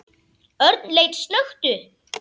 Örn leit snöggt upp.